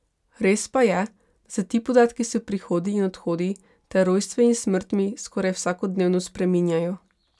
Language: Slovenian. Res pa je, da se ti podatki s prihodi in odhodi ter rojstvi in smrtmi skoraj vsakodnevno spreminjajo.